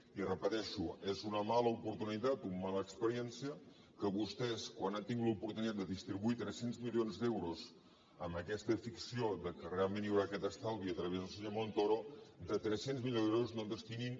i ho repeteixo és una mala oportunitat una mala experiència que vostès quan han tingut l’oportunitat de distribuir tres cents milions d’euros amb aquesta ficció que realment hi haurà aquest estalvi a través del senyor montoro de tres cents milions d’euros no en destinin